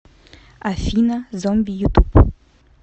афина зомби ютуб